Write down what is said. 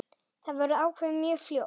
Þetta verður ákveðið mjög fljótt.